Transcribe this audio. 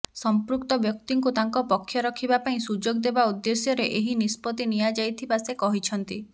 ସମ୍ପୃକ୍ତ ବ୍ୟକ୍ତିଙ୍କୁ ତାଙ୍କ ପକ୍ଷ ରଖିବା ପାଇଁ ସୁଯୋଗ ଦେବା ଉଦ୍ଦେଶ୍ୟରେ ଏହି ନିଷ୍ପତ୍ତି ନିଆଯାଇଥିବା ସେ କହିଛନ୍ତି